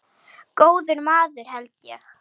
Góður maður held ég.